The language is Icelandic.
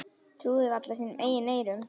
Trúði varla sínum eigin eyrum.